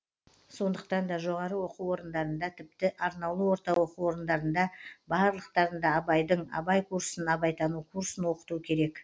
сондықтан да жоғарғы оқу орындарында тіпті арнаулы орта оқу орындарында барлықтарында абайдың абай курсын абайтану курсын оқыту керек